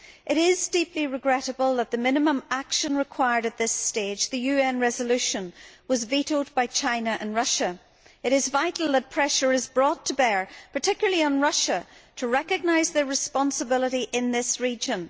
It is deeply regrettable that the minimum action required at this stage, the UN resolution, was vetoed by China and Russia. It is vital that pressure be brought to bear on Russia, in particular, to recognise their responsibility in this region.